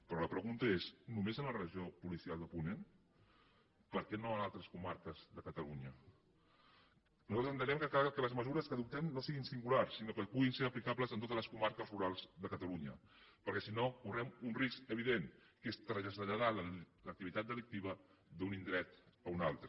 però la pregunta és només en la regió policial de ponent per què no a altres comarques de catalunya nosaltres entenem que cal que les mesures que adoptem no siguin singulars sinó que puguin ser aplicables en totes les comarques rurals de catalunya perquè si no correm un risc evident que és traslladar l’activitat delictiva d’un indret a un altre